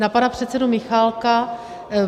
Na pana předsedu Michálka.